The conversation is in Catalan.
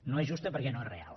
no és justa perquè no és real